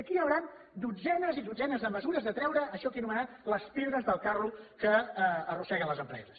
i aquí hi hauran dotzenes i dotzenes de mesures de treure això que he anomenat les pedres del carro que arrosseguen les empreses